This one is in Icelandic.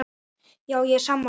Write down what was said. Já, ég er sammála þessu.